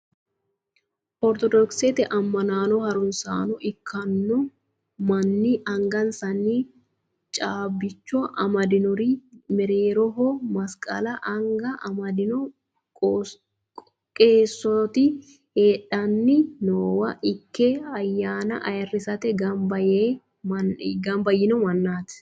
Ortodokisete amma'no harunsaano ikkanno maanni angansanni caabbicho amadinori mereeroho masiqala anga amaddino qeesooti hadhanni noowa ikke ayyaana ayirrisate gamba yiino mannaati.